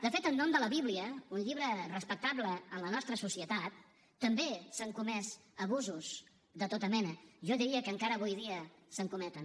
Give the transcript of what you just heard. de fet en nom de la bíblia un llibre respectable en la nostra societat també s’han comès abusos de tota mena jo diria que encara avui dia se’n cometen